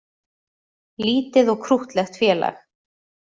Lítið og krúttlegt félag